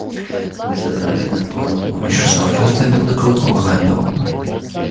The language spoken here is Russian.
бессознательно словно с помощью шестого чувства белый клык угадывал